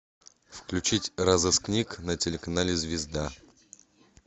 включить розыскник на телеканале звезда